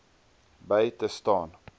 by te staan